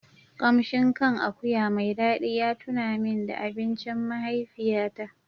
Kamshin kan akuya mai dadi ya tuna min da abincin mahaifiyata.